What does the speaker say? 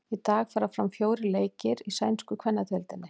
Í dag fara fram fjórir leikir í sænsku kvennadeildinni.